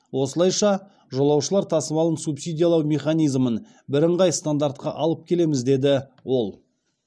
осылайша жолаушылар тасымалын субсидиялау механизмін бірыңғай стандартқа алып келеміз деді ол